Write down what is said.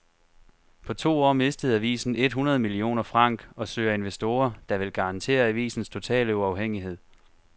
På to år mistede avisen et hundrede millioner franc og søger investorer, der vil garantere avisens totale uafhængighed.